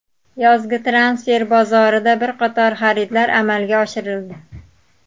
Yozgi transfer bozorida bir qator xaridlar amalga oshirildi.